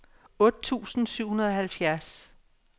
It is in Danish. otte tusind syv hundrede og halvfjerds